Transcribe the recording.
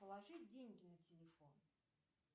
положи деньги на телефон